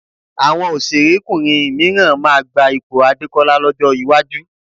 Àwọn òṣèrékùnrin mìíràn máa gba ipò Adékọ́lá lọ́jọ́ iwájú